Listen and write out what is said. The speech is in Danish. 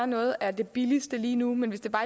noget af det billigste lige nu men hvis det